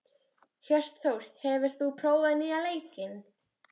Hjörtþór, hefur þú prófað nýja leikinn?